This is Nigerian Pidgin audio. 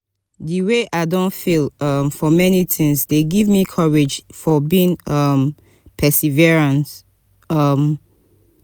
di wey i don fail um for many tings dey give me courage for being um perseverance. um